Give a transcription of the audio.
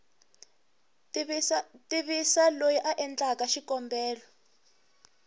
tivisa loyi a endleke xikombelo